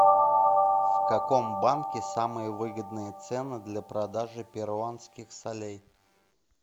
в каком банке самые выгодные цены для продажи перуанских солей